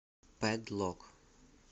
пэд лок